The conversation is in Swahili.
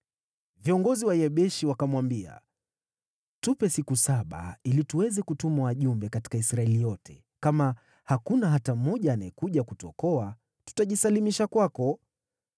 Viongozi wa Yabeshi wakamwambia, “Tupe siku saba ili tuweze kutuma wajumbe katika Israeli yote, kama hakuna hata mmoja anayekuja kutuokoa, tutajisalimisha kwako.”